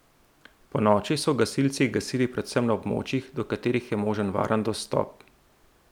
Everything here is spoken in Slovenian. Ponoči so gasilci gasili predvsem na območjih, do katerih je možen varen dostop.